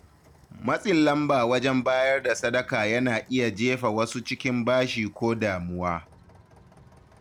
Matsin lamba wajen bayar da sadaka yana iya jefa wasu cikin bashi ko damuwa.